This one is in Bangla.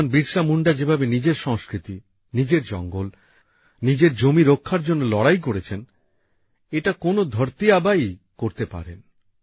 ভগবান বিরসা মুন্ডা যেভাবে নিজের সংস্কৃতি নিজের জঙ্গল নিজের জমি রক্ষা করার জন্য লড়াই করেছেন এটা কোন ধরতি আবাই করতে পারে